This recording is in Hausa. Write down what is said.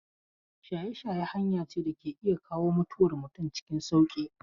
Shaye-shaye hanya ce da ke iya kawo mutuwar mutum cikin sauƙi.